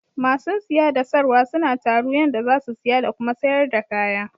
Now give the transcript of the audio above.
Ma sun siya da sarwa suna taru yanda za su siya da Kuma sayar da kaya.